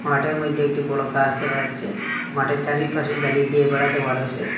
মাঠের মধ্যে একটি বড় গাস দেখা যাচ্ছে মাঠের চারিপাশে জালি দিয়ে বেড়া দেওয়া রয়েসে।